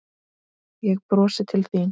Ég brosi til þín.